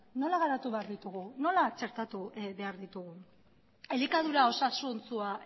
nola garatu behar ditugu nola txertatu behar ditugu elikadura osasuntsua